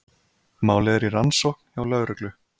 Málið er í rannsókn hjá lögreglu